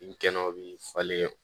I kɛnɛ o bi falen